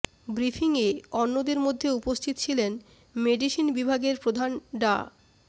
ব্রিফিংয়ে অন্যদের মধ্যে উপস্থিত ছিলেন মেডিসিন বিভাগের প্রধান ডা